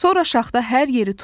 Sonra şaxta hər yeri tutdu.